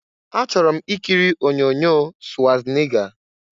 Achọrọ m ikiri onyoonyo Swazniga.